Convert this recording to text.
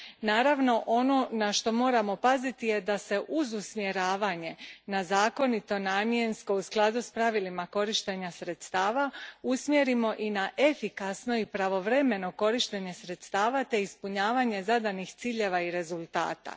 Naravno, ono na što moramo paziti je da se uz usmjeravanje na zakonito namjensko u skladu s pravilima korištenja sredstava, usmjerimo i na efikasno i pravovremeno korištenje sredstava te ispunjavanje zadanih ciljeva i rezultata.